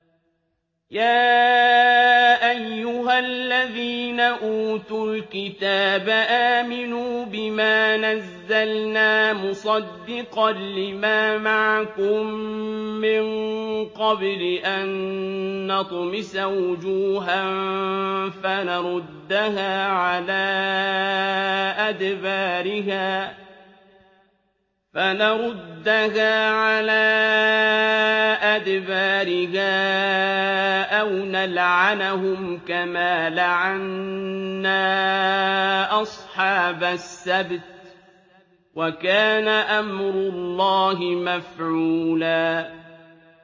يَا أَيُّهَا الَّذِينَ أُوتُوا الْكِتَابَ آمِنُوا بِمَا نَزَّلْنَا مُصَدِّقًا لِّمَا مَعَكُم مِّن قَبْلِ أَن نَّطْمِسَ وُجُوهًا فَنَرُدَّهَا عَلَىٰ أَدْبَارِهَا أَوْ نَلْعَنَهُمْ كَمَا لَعَنَّا أَصْحَابَ السَّبْتِ ۚ وَكَانَ أَمْرُ اللَّهِ مَفْعُولًا